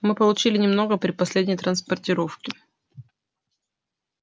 мы получили немного при последней транспортировке